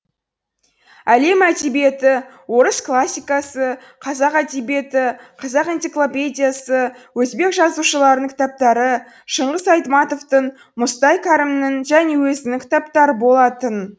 әлем әдебиеті орыс классикасы қазақ әдебиеті қазақ энциклопедиясы өзбек жазушыларының кітаптары шыңғыс айтматовтың мұстай кәрімнің және өзінің кітаптары болатын